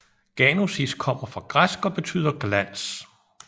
Ganosis kommer fra græsk og betyder glans